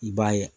I b'a ye